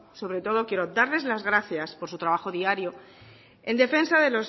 sobre todo quiero darles las gracias por su trabajo diario en defensa de